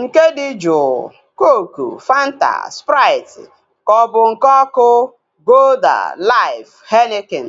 Nke dị juu (cooku, Fanta, sprait) kaobu nke ọkụ (golda, laif, henikin)